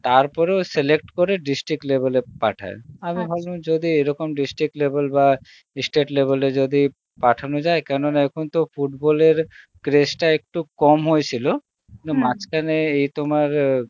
তারপরে ও select করে district level এ পাঠায় ভাবলাম যদি এইরকম district level বা state level এ যদি পাঠানো যায় কেন না এখন তো football এর craze টা একটু কম হয়েছিল কিন্তু মাজ্ঘানে এই তোমার